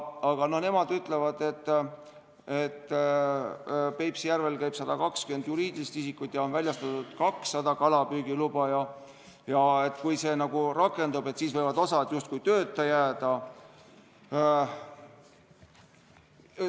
Aga nad ütlevad, et Peipsi järvel käib püüdmas 120 juriidilist isikut ja on väljastatud 200 kalapüügiluba ning et kui see muudatus rakendub, siis võib osa justkui tööta jääda.